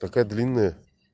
такая длинная